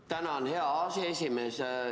Tänan, hea aseesimees!